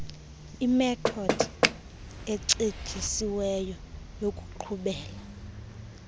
imethodi ecetyisiweyo yokuqhubela